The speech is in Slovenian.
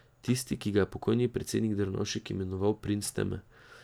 Tisti, ki ga je pokojni predsednik Drnovšek imenoval princ teme.